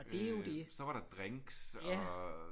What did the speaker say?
Øh så var der drinks og